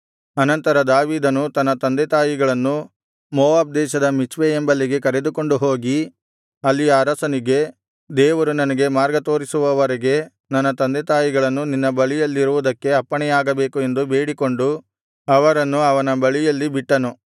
ಅನಂತರ ದಾವೀದನು ತನ್ನ ತಂದೆತಾಯಿಗಳನ್ನು ಮೋವಾಬ್ ದೇಶದ ಮಿಚ್ಪೆ ಎಂಬಲ್ಲಿಗೆ ಕರೆದುಕೊಂಡು ಹೋಗಿ ಅಲ್ಲಿಯ ಅರಸನಿಗೆ ದೇವರು ನನಗೆ ಮಾರ್ಗತೋರಿಸುವವರೆಗೆ ನನ್ನ ತಂದೆತಾಯಿಗಳು ನಿನ್ನ ಬಳಿಯಲ್ಲಿರುವುದಕ್ಕೆ ಅಪ್ಪಣೆಯಾಗಬೇಕು ಎಂದು ಬೇಡಿಕೊಂಡು ಅವರನ್ನು ಅವನ ಬಳಿಯಲ್ಲಿ ಬಿಟ್ಟನು